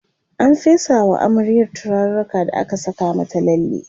an fesa wa amaryar turaruka da aka Saka mata lalle